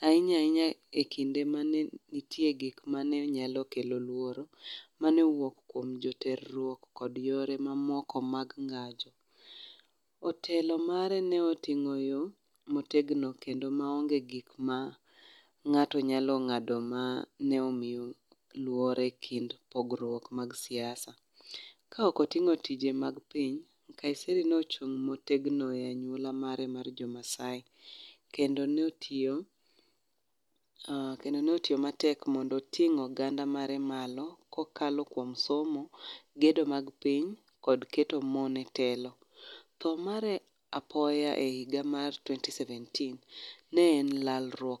ahinya ahinya e jiwo arita mane nie piny kenya ahinya ahinya ekinde mane nitie gik mane nyalo kelo luoro mane owuok kuom jo terruok kod yore mamoko mag ngajo. Otelo mare ne otingo yo ma otegno kendo maonge gik ma ngato nyalo ngado mane omiyo luore ekind pogruok mag siasa. Ka ok otingo weche mag piny, Nkaiserry nochung motegno ne anyuola mare mar jo Maasai kendo notiyo, kendo notiyo matek mondo oting oganda mare malo kokalokuom somo, gedo mar piny kod keto mon e telo. Tho mare apoya e higa mar twenty seventeen ne en lalruok